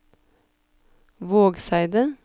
Vågseidet